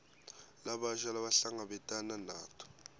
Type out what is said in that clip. labasha labahlangabetana nato